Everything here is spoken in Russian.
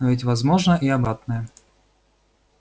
но ведь возможно и обратное